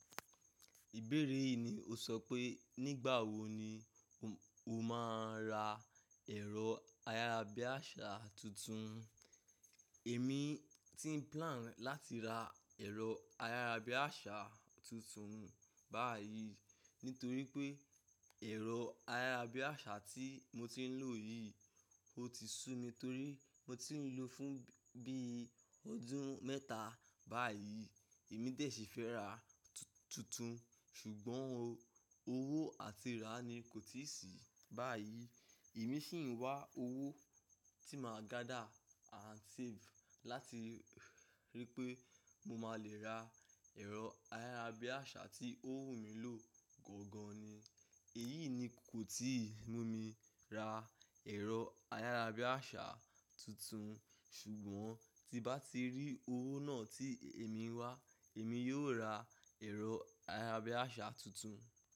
Ìbéèrè yìí ni o sọ pé nígbà wo ni o máa ra ẹ̀rọ ayárabíàṣá tuntun. Èmi ti ń plan láti ra ẹ̀rọ ayárabíàṣá tuntun báyìí nítorí pé ẹ̀rọ ayárabíàṣá tí mo ti ń lò yìí, ó ti sú mi torí mo ti ń lò ó fún bí i ọdún mẹ́ta báyìí. Èmi dẹ̀ sì fẹ́ ra tuntun, ṣùgbọ́n owó àti ra ni kò tíì sí báyìí. Èmi ṣì ń wá owó tí màá gather and save láti rí pé mo máa le ra ẹ̀rọ ayárabíàṣá tí ó wù mí lò gangan ni. Èyí ni kò tíì mú mi ra ẹ̀rọ ayárabíàṣá tuntun, ṣùgbọ́n tí n bá ti rí owó náà tí èmi ń wá, èmi yóò ra ẹ̀rọ ayárabíàṣá tuntun.